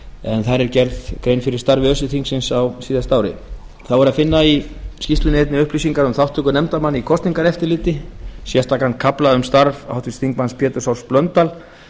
en þar er gerð grein fyrir starfi öse þingsins á síðasta ári þá er að finna í skýrslunni einnig upplýsingar um þátttöku nefndarmanna í kosningaeftirliti sérstakan kafla um starf háttvirtur þingmaður péturs h blöndal